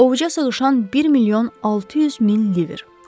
Ovuca sığışan 1 milyon 600 min liver.